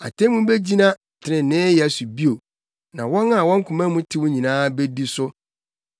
Atemmu begyina treneeyɛ so bio, na wɔn a wɔn koma mu tew nyinaa bedi so.